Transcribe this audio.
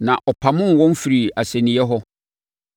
Na ɔpamoo wɔn firii asɛnniiɛ hɔ.